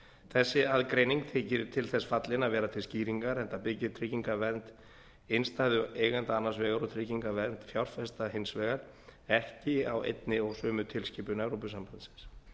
þessi aðgreining þykir til þess fallin að vera til skýringar enda byggir tryggingavernd innstæðueigenda annars vegar og tryggingavernd fjárfesta hins vegar ekki á einni og sömu tilskipun evrópusambandsins